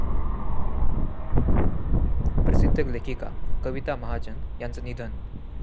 प्रसिद्ध लेखिका कविता महाजन यांचं निधन